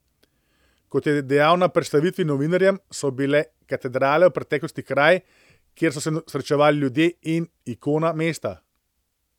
Kot je dejal na predstavitvi novinarjem, so bile katedrale v preteklosti kraj, kjer so se srečevali ljudje, in ikona mesta.